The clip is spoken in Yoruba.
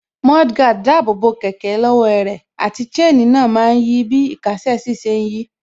Mudguard dáàbò bo kẹ̀kẹ́ lọ́wọ́ ẹrẹ̀, àti chain náà má ń yí bí īkásè sí ṣe ń yí